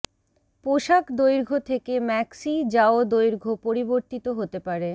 পোষাক দৈর্ঘ্য থেকে ম্যাক্সি যাও দৈর্ঘ্য পরিবর্তিত হতে পারে